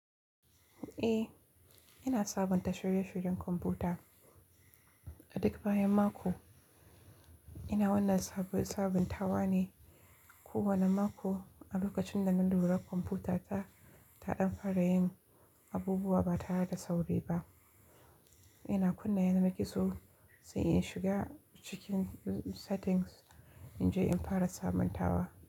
Eh, ina sabunta shirye-shiryen kwamfuta. Adak bayan mako, ina wannan sabuntawa ne kowane mako a lokacin da na lura kwamfutata taɗan fara yin abubuwa ba tare da sauri ba. Ina kunna yanar gizo sai in shiga cikin settings in je in fara sabuntawa.